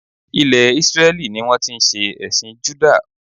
Ilè Isreli ni wón ti n se èsìn Juda